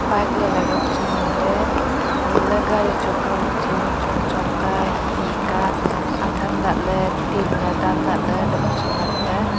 bike lailai ka bu chu nganley hailah ley gari choka buchu chongchong ka hihi ka athan lahley tinley dan lahley bu chu nganley.